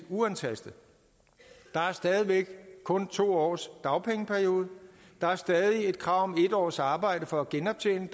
uantastet der er stadig væk kun to års dagpengeperiode der er stadig et krav om en års arbejde for at genoptjene